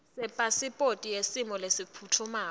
sepasiphothi yesimo lesiphutfumako